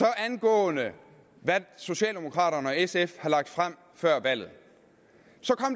angående hvad socialdemokraterne og sf har lagt frem før valget